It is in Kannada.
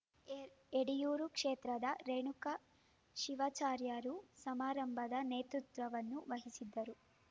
ಏರ್ ಎಡೆಯೂರು ಕ್ಷೇತ್ರದ ರೇಣುಕಾ ಶಿವಾಚಾರ್ಯರು ಸಮಾರಂಭದ ನೇತೃತ್ವ ವಹಿಸಿದ್ದರು